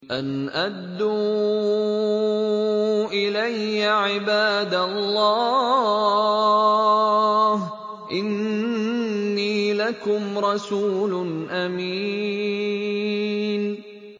أَنْ أَدُّوا إِلَيَّ عِبَادَ اللَّهِ ۖ إِنِّي لَكُمْ رَسُولٌ أَمِينٌ